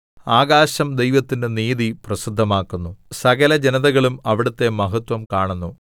ആകാശം ദൈവത്തിന്റെ നീതി പ്രസിദ്ധമാക്കുന്നു സകലജനതകളും അവിടുത്തെ മഹത്വം കാണുന്നു